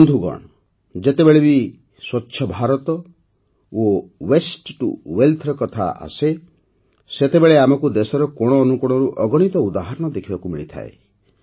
ବନ୍ଧୁଗଣ ଯେତେବେଳେ ବି ସ୍ୱଚ୍ଛଭାରତ ଓ ୱାସ୍ତେ ଟିଓ ୱେଲ୍ଥ ର କଥା ଆସେ ସେତେବେଳେ ଆମକୁ ଦେଶର କୋଣଅନୁକୋଣରୁ ଅଗଣିତ ଉଦାହରଣ ଦେଖିବାକୁ ମିଳୁଛି